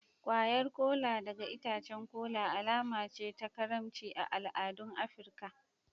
Kwayar Kola daga itacen kola alama ce ta karimci a al'adun Afirka.